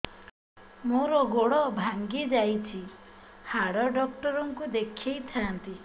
ମୋର ଗୋଡ ଭାଙ୍ଗି ଯାଇଛି ହାଡ ଡକ୍ଟର ଙ୍କୁ ଦେଖେଇ ଥାନ୍ତି